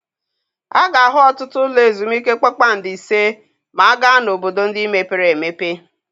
A ga-ahụ ọtụtụ ụlọ ezumike kpakpando ise ma a gaa n'obodo ndị mepere emepe.